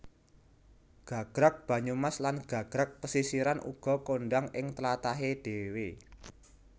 Gagrag Banyumas lan Gagrag Pesisiran uga kondhang ing tlatahé dhéwé